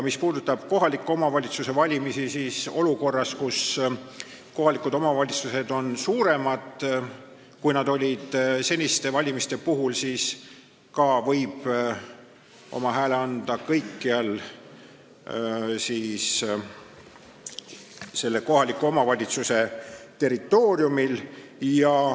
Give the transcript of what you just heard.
Mis puudutab kohaliku omavalitsuse valimist, siis olukorras, kus kohalikud omavalitsused on suuremad, kui nad on olnud seniste valimiste puhul, võib oma hääle anda kõikjal selle kohaliku omavalitsuse territooriumil.